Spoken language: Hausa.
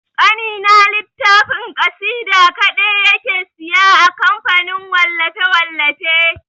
Ƙanina littafin ƙasida kaɗe yake siya a kamfanin wallafe-wallafe.